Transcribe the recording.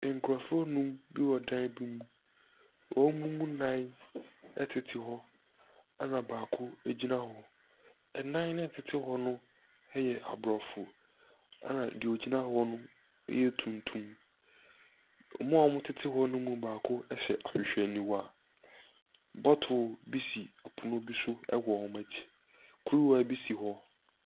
Nkurɔfo nnum bi wɔ dan bi mu. Wɔn mu nnan tete hɔ, ɛna baako gyina hɔ. Nnan no a wɔtete hɔ no yɛ Aborɔfo, ɛna deɛ ɔgyina hɔ no yɛ tuntum. Wɔn a wɔtete hɔ no mu baako hyɛ ahwehwɛniwa. Bottle bi si pono bi so wɔ wɔn akyi. Kuruwa bi si hɔ.